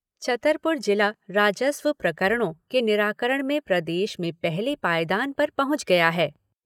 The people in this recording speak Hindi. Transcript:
छतरपुर जिला राजस्व प्रकरणों के निराकरण में प्रदेश में पहले पायदान पर पहुँच गया है।